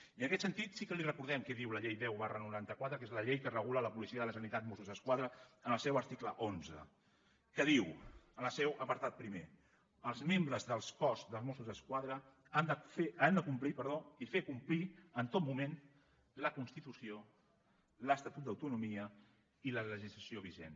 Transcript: i en aquest sentit sí que li recordem què diu la llei deu noranta quatre que és la llei que regula la policia de la generalitat mossos d’esquadra en el seu article onze que diu en el seu apartat primer els membres del cos de mossos d’esquadra han de complir i fer complir en tot moment la constitució l’estatut d’autonomia i la legislació vigent